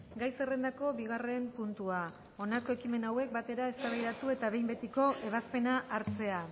gai zerrendako bigarren puntua honako ekimen hauek batera eztabaidatu eta behin betiko ebazpena hartzea